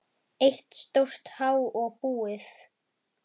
Eitt stórt há og búið.